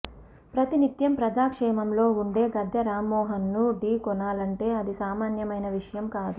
ప్రతినిత్యం ప్రజాక్షేత్రంలో ఉండే గద్దె రామ్మోహన్ ను ఢీ కొనాలంటే అది సామాన్యమైన విషయం కాదు